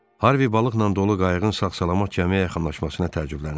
Harvi balıqla dolu qayığın sağ-salamat gəmiyə yaxınlaşmasına təəccüblənirdi.